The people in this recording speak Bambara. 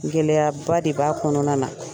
gɛlɛyaba de b'a kɔnɔna na.